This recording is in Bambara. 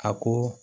A ko